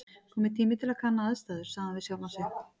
Kominn tími til að kanna aðstæður sagði hann við sjálfan sig.